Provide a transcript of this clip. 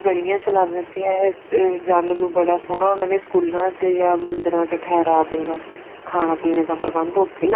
ਗਲੀਆਂ ਚ ਲਾ ਦਿੰਦੇ ਸੀ ਇਹ ਜਾਣਨ ਨੂੰ ਬੜਾ ਸੋਹਣਾ ਉਹਨਾ ਨੇ ਸਕੂਲਾ ਚ ਜਾਂ ਮੰਦਰਾਂ ਚ ਠਿਹਰਾ ਸਕਦਾ ਖਾਣਾ ਪੀਣਾ ਦਾ ਪ੍ਰਬੰਦ ਉੱਥੇ ਈ ਲਾਤਾ